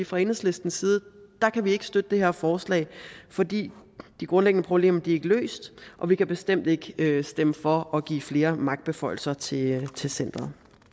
fra enhedslistens side ikke støtte det her forslag fordi de grundlæggende problemer er løst og vi kan bestemt ikke stemme for at give flere magtbeføjelser til til centeret